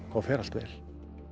fer allt vel